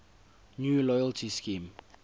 new loyalty scheme